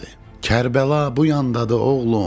Kərbəla bu yandadır, oğlum.